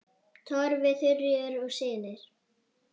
Torfi, Þuríður og synir.